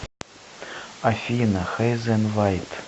афина хейзен вайт